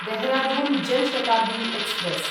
Dehradun Jan Shatabdi express